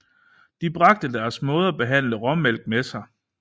De bragte deres måde at behandle råmælk med sig